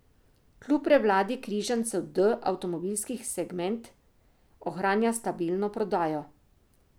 Kljub prevladi križancev D avtomobilski segment ohranja stabilno prodajo.